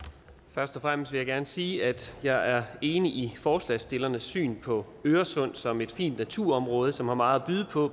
først og fremmest vil jeg gerne sige at jeg er enig i forslagsstillernes syn på øresund som et fint naturområde som har meget at byde på